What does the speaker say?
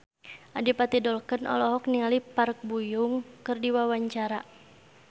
Adipati Dolken olohok ningali Park Bo Yung keur diwawancara